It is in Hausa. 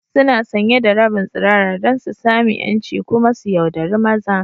Suna sanye da rabin tsirara don su sami 'yanci kuma su yauɗari maza.